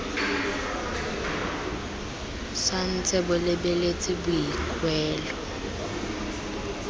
sa ntse bo lebeletse boikuelo